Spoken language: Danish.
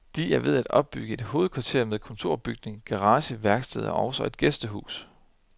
De er ved at opbygge et hovedkvarter med kontorbygning, garage, værksted og også et gæstehus.